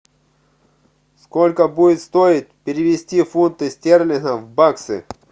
сколько будет стоить перевести фунты стерлингов в баксы